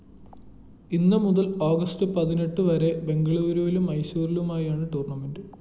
ഇന്ന് മുതൽ ഓഗസ്റ്റ്‌ പതിനെട്ട് വരെ ബെംഗളൂരുവിലും മൈസൂരിലുമായാണ് ടൂർണമെന്റ്‌